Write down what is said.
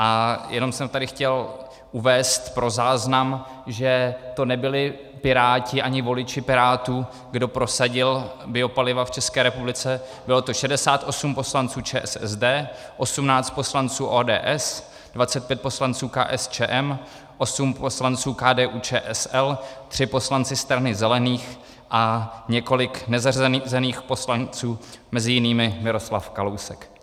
A jenom jsem tady chtěl uvést pro záznam, že to nebyli Piráti ani voliči Pirátů, kdo prosadil biopaliva v České republice, bylo to 68 poslanců ČSSD, 18 poslanců ODS, 25 poslanců KSČM, 8 poslanců KDU-ČSL, 3 poslanci Strany zelených a několik nezařazených poslanců, mezi jinými Miroslav Kalousek.